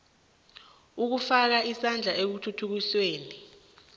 ukufaka isandla ekuthuthukisweni